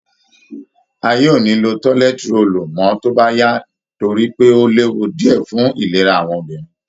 Ayé ò ní lo tọ́lẹ́t róòlù mọ́ tó bá yá torí pé ó léwu díẹ̀ fún ìlera àwọn obìnrin